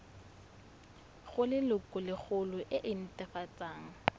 go lelokolegolo e e netefatsang